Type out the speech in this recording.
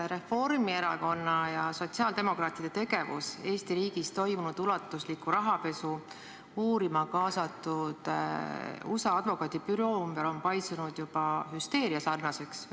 Reformierakonna ja sotsiaaldemokraatide tegevus Eesti riigis toimunud ulatusliku rahapesu uurima kaasatud USA advokaadibüroo ümber on paisunud juba hüsteeriasarnaseks.